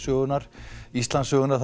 Íslandssögunnar